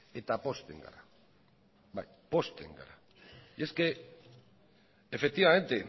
eta pozten gara bai pozten gara es que efectivamente